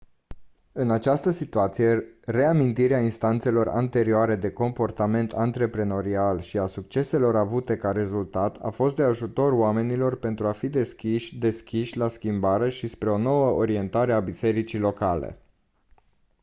în această situați reamintirea instanțelor anterioare de comportament antreprenorial și a succeselor avute ca rezultat a fost de ajutor oamenilor pentru a fi deschiși deschiși la schimbare și spre o nouă orientare a bisericii locale